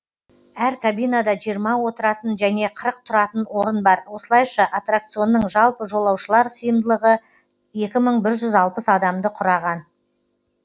әр кабинада жиырма отыратын және қырық тұратын орын бар осылайша аттракционның жалпы жолаушылар сиымдылығы екі мың бір жүз алпыс адам құраған